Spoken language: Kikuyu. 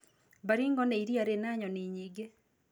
Baringo nĩ iriia rĩna nyoni nyingĩ.